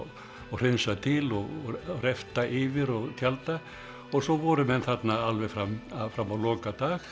hreinsa til og yfir og tjalda og svo voru menn þarna alveg fram fram á lokadag